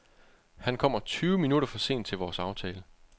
Han kommer tyve minutter for sent til vores aftale.